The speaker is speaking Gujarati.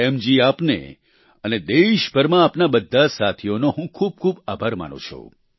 પ્રેમ જી આપને અને દેશભરમાં આપના બધા સાથીઓને હું ખૂબ ખૂબ આભાર માનુ છું